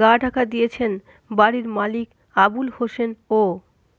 গা ঢাকা দিয়েছেন বাড়ির মালিক আবুল হোসেন ও